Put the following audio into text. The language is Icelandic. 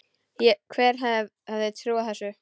Hver hefði trúað þessu!